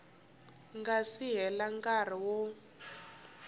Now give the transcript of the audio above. nga si hela nkarhi wo